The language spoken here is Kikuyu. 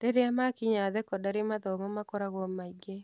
Rĩrĩa makinya thekondarĩ, mathomo makoragwo maingĩ.